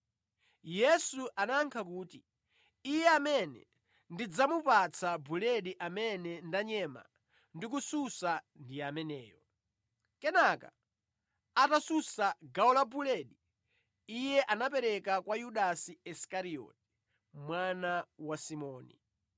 Yesu anayankha kuti, “Iye amene ndidzamupatsa buledi amene ndanyema ndikususa ndi ameneyo.” Kenaka, atasunsa gawo la buledi, Iye anapereka kwa Yudasi Isikarioti, mwana wa Simoni.